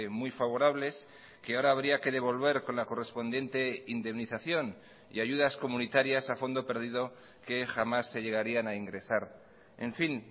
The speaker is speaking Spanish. muy favorables que ahora habría que devolver con la correspondiente indemnización y ayudas comunitarias a fondo perdido que jamás se llegarían a ingresar en fin